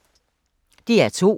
DR2